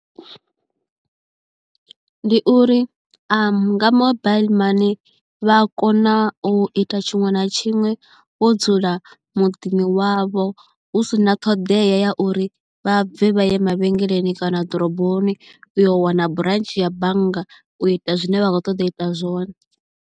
Ndi uri a nga mobaiḽi mani vha a kona u ita tshiṅwe na tshiṅwe vho dzula muḓini wavho hu si na ṱhoḓea ya uri vha bve vha ye mavhengeleni kana ḓoroboni u yo wana branch ya bannga u ita zwine vha khou ṱoḓa u ita zwone.